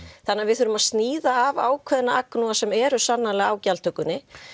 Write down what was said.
þannig að við verðum að sníða að ákveðna agnúa sem eru sannarlega á gjaldtökunni